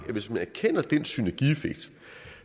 vi hvis man erkender den synergieffekt